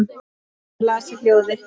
Hann las í hljóði